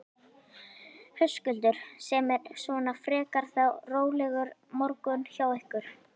Höskuldur: Sem er svona frekar þá rólegur morgunn hjá ykkur?